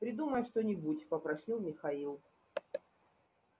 придумай что-нибудь попросил михаил